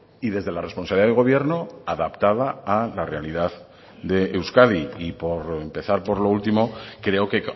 y desde la responsabilidad del gobierno adaptada a la realidad de euskadi y por empezar por lo último creo que